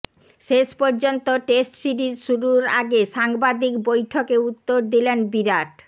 শেষ পর্যন্ত test series শুরুর আগে সাংবাদিক বৈঠকে উত্তর দিলেন বিরাট